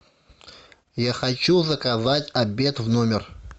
я хочу заказать обед в номер